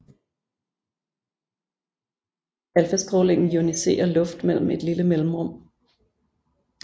Alfastrålingen ioniserer luft mellem et lille mellemrum